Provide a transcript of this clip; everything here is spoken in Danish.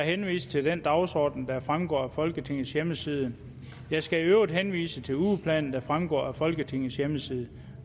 henviser til den dagsorden der fremgår af folketingets hjemmeside jeg skal i øvrigt henvise til ugeplanen der fremgår af folketingets hjemmeside